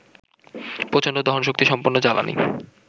প্রচণ্ড দহনশক্তিসম্পন্ন জ্বালানি